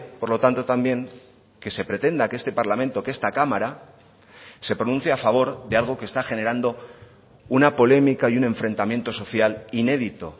por lo tanto también que se pretenda que este parlamento que esta cámara se pronuncie a favor de algo que está generando una polémica y un enfrentamiento social inédito